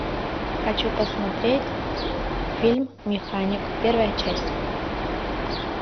хочу посмотреть фильм механик первая часть